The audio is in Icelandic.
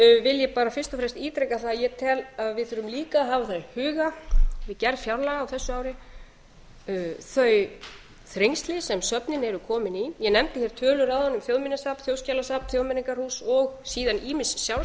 ég bara fyrst og fremst ítreka það að ég tel að við þurfum líka að hafa það í huga við gerð fjárlaga á þessu ári þau þrengsli sem söfnin eru komin í ég nefndi hér tölur áðan um þjóðminjasafn þjóðskjalasafn þjóðmenningarhús og síðan ýmis sjálfstæð